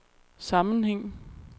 sammenhæng